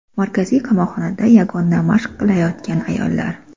Markaziy qamoqxonada yogani mashq qilayotgan ayollar.